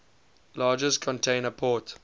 largest container port